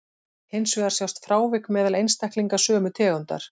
Hins vegar sjást frávik meðal einstaklinga sömu tegundar.